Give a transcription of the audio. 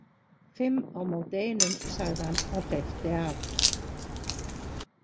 Fimm á móti einum, sagði hann og hleypti af.